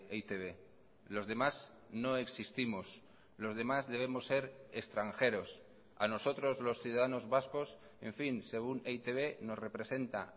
e i te be los demás no existimos los demás debemos ser extranjeros a nosotros los ciudadanos vascos en fin según e i te be nos representa